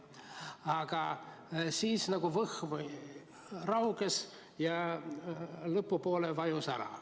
Aga siis nagu võhm rauges ja lõpupoole vajus ära.